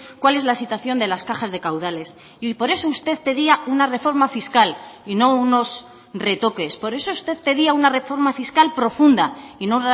cuál es la situación de las cajas de caudales y por eso usted pedía una reforma fiscal y no unos retoques por eso usted pedía una reforma fiscal profunda y no